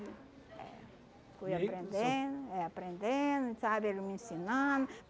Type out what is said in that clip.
Fui aprendendo, eh aprendendo, sabe, ele me ensinando.